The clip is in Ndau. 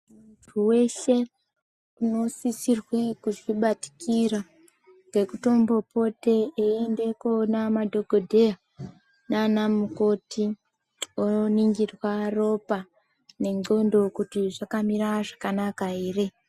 Muntu weshe uno sisirwe kuzvi batikira ngeku tombo pote eyi ende koona madhokodheya nana mukoti vo ningirwa ropa ne ndxondo kuti zvakamira zvakanaka ere.